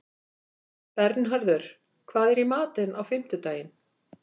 Bernharður, hvað er í matinn á fimmtudaginn?